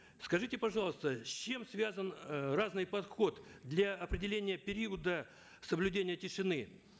скажите пожалуйста с чем связан э разный подход для определения периода соблюдения тишины